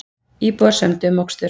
Íbúar sömdu um mokstur